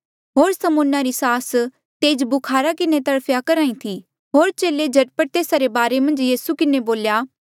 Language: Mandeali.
होर समौना री सास तेज बुखारा किन्हें तड़फया करहा ई थी होर चेले झट पट तेस्सा रे बारे मन्झ यीसू किन्हें बोल्या